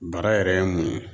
Bara yɛrɛ ye mun ye?